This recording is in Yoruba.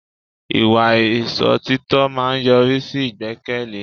Ìwà Ìsòtítọ́ máa ń yọrí sí ìgbẹ́kẹ̀lé